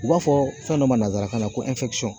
U b'a fɔ fɛn dɔ ma nansarakan na ko